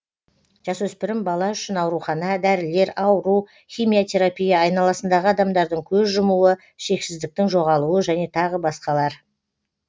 жасөспірім бала үшін аурухана дәрілер ауру химиотерапия айналасындағы адамдардың көз жұмуы шексіздіктің жоғалуы және тағы басқалар